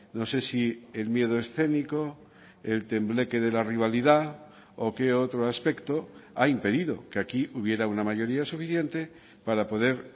no se si el miedo escénico el tembleque de la rivalidad o qué otro aspecto ha impedido que aquí hubiera una mayoría suficiente para poder